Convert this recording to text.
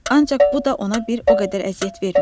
Ancaq bu da ona bir o qədər əziyyət vermirdi.